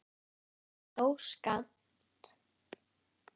þó skammt.